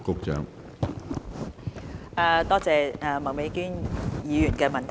感謝麥美娟議員的補充質詢。